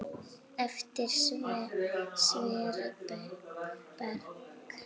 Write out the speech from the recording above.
Eftir Sverri Berg.